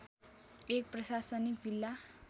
एक प्रशासनिक जिल्ला